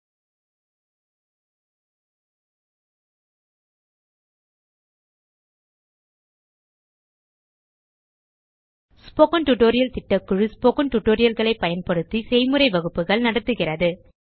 spoken tutorial திட்டக்குழு spoken tutorial களை பயன்படுத்தி செய்முறை வகுப்புகள் நடத்துகிறது